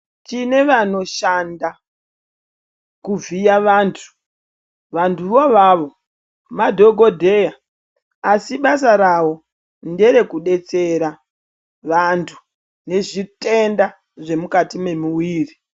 Tine vanoshanda kuvhiye vantu vantu vo avavo madhokodheya asibasa rawo ndere kudetsera vantu nezvitenda zvemukati memuwiri